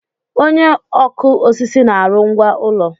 Onye ọkụ osisi na-arụ ngwá ụlọ.